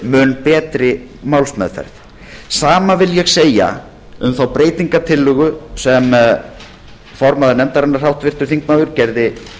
mun betri málsmeðferð hið sama vil ég segja um þá breytingartillögu sem formaður nefndarinnar háttvirtur þingmaður gerði